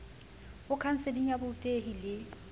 ho khanseling ya borutehi le